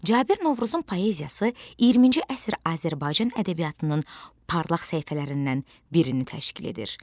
Cabir Novruzun poeziyası 20-ci əsr Azərbaycan ədəbiyyatının parlaq səhifələrindən birini təşkil edir.